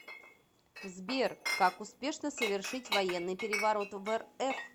сбер как успешно совершить военный переворот в рф